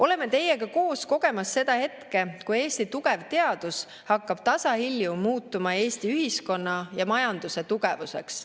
Oleme teiega koos kogemas seda hetke, kui Eesti tugev teadus hakkab tasahilju muutuma Eesti ühiskonna ja majanduse tugevuseks.